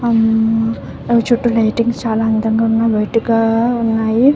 ఆ అవి చుట్టూ లైటింగ్స్ చాలా అందంగా వైట్ గా ఉన్నాయి.